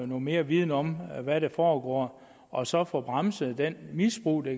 noget mere viden om hvad der foregår og så få bremset det misbrug der